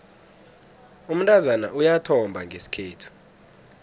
umntazana uyathomba ngesikhethu